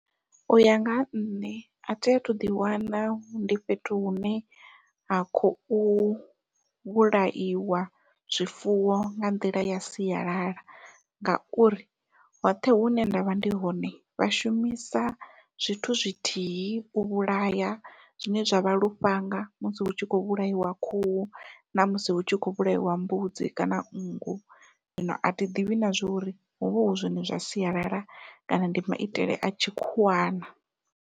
Uya nga ha nṋe athi athu ḓi wana ndi fhethu hune ha khou vhulaiwa zwifuwo nga nḓila ya sialala, ngauri hoṱhe hune ndavha ndi hone vha shumisa zwithu zwithihi u vhulaya zwine zwa vha lufhanga musi hu tshi kho vhulaiwa khuhu namusi hu tshi kho vhulaiwa mbudzi kana nngu, zwino athi ḓivhi na zwori huvha hu zwone zwa sialala kana ndi maitele a tshikhuwa na.